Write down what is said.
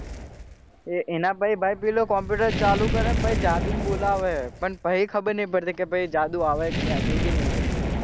એ એના પહી પેલો computer ચાલુ કરે પહી જાદુન બોલાવે હે પહી ખબર નહી પડતી જાદુ આવે હેકે નહી આવતો એ બી નહી પડતી.